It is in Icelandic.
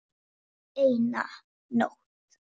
En hvaða máli skiptir hann?